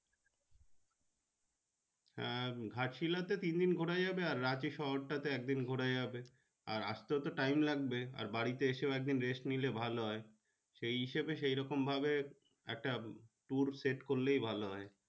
আহ Ghatshila তে তিনদিন ঘুরা যাবে আর রাঁচি শহর টা তে একদিন ঘুড়া যাবে আর আস্তে তো time লাগবে আর বাড়ি তে আসে একদিন race নিলে ভালো হয় সেই হিসেবে সেইরকম ভাবে একটা tour set করলে ভালো হয়।